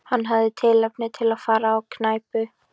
Hann hafði tilefni til að fara á knæpu.